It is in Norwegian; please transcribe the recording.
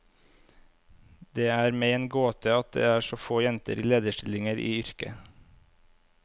Det er meg en gåte at det er så få jenter i lederstillinger i yrket.